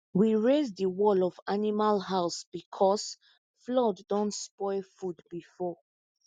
we raise the wall of animal house because flood don spoil food before